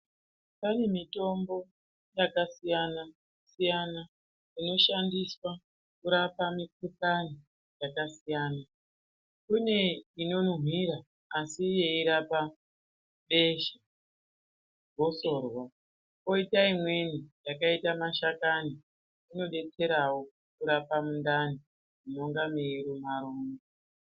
Pane mitombo yakasiyana-siyana inoshandiswa kurapa mikuhlani yakasiyana. Kune inonuhwira asi yeirapa besha, gosorwa. Koita imweni yakaita mashakani inobetserawo kurapa mundani munenga meiruma-ruma.